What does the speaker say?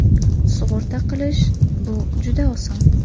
Sug‘urta qilish – bu juda oson!